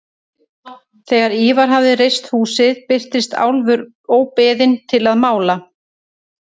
Þegar Ívar hafði reist húsið birtist Álfur óbeðinn til að mála.